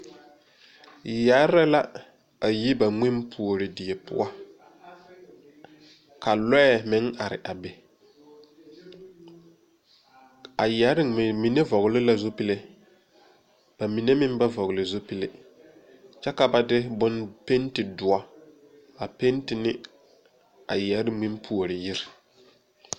Yɛrre la a yi ba ngmen puore die poɔ ka lɔɛ meŋ are a be a yerre ŋa mine vɔgle la zupile ba mine meŋ ba vɔgle zupile kyɛ ka ba de penti doɔ a penti ne a yɛrre ngmen puore yiri.